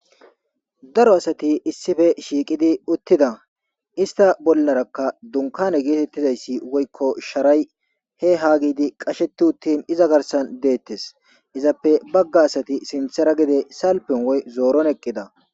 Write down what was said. Daro asati issife shiiqidi uttida ista bollarakka dunkane geetettidayssi woykko sharay he haa gidi qasheti uttin iza garsan deettes izappe bagga asati sinthera gide salpen woy zooron eqqida.